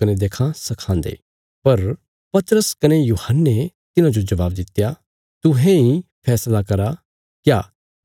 पर पतरस कने यूहन्ने तिन्हांजो जवाब दित्या तुहें इ फैसला करा क्या